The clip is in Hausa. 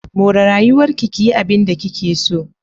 More rayuwarki ki yi abinda kike so.